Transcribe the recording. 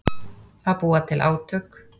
Að búa til átök